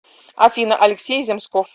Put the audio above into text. афина алексей земсков